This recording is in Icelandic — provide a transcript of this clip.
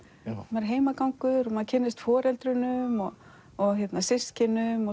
maður er heimagangur og maður kynnist foreldrunum og og systkinum